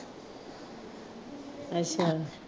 ਅੱਛਾ।